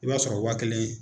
I b'a sɔrɔ waa kelen.